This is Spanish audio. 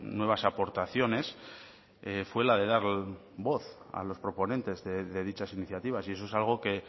nuevas aportaciones fue la de dar voz a los proponentes de dichas iniciativas y eso es algo que